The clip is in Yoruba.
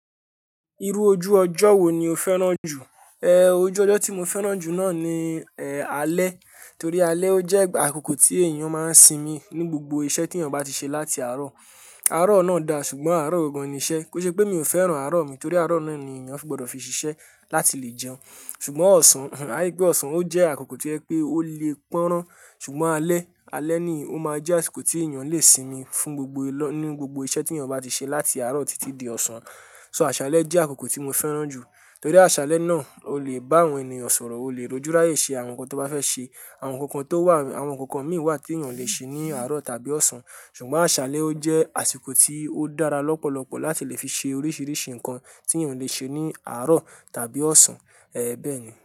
Irú ojú ọjọ́ wo ni o fẹ́ràn jù? Ehn, ojú ọjọ́ tí mo fẹ́ràn jù náà ni, eh, alẹ́. Torí alẹ́ ó jẹ́ àkókò tí èèyàn máa ń sinmi ní gbogbo iṣẹ́ tí èèyàn bá ti ṣe láti àárọ̀. Àárọ̀ náà da ṣùgbọ́n àárọ̀ gangan ni iṣẹ́. Kò n ṣe pé mi ò fẹ́ràn àárọ̀ mi torí àárọ̀ náà ni èèyàn fi gbọ́dọ̀ fi ṣiṣẹ́ láti lè jẹun. Ṣùgbọ́n ọ̀sán, àri pé ọ̀sán ó jẹ́ àkókò to jẹ pé ó le pọ́nran. Ṣùgbọ́n alẹ́, alẹ́ ni ó máa ń jẹ́ àsìkò tí èèyàn le sinmi fún gbogbo lọ-- ní gbogbo iṣẹ́ tí èèyàn bá ti ṣe láti àárọ̀ títí di ọ̀sán. So àsàlẹ́ jẹ́ àkókò tí mo fẹ́ràn jù. Torí àsálẹ́ náà o le bá àwọn ènìyàn sọ̀rọ̀, o le rójúráyè ṣe àwọn nǹkan tó bá fẹ́ ṣe. Àwọn nǹkankan tó wà, àwọn nǹkankan mí wà tí èèyàn ò le ṣe ní àárọ̀ tàbí ọ̀sán. Ṣùgbọ́n àsálẹ́ ó jẹ́ àsìkò tí ó dára lọ́pọ̀lọpọ̀ láti lè fi ṣe oríṣiríṣi nǹkan tí èèyàn le ṣe ní àárọ̀ tàbí ọ̀sán. Eh, bẹ́ẹ̀ ni.